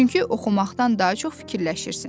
Çünki oxumaqdan daha çox fikirləşirsən.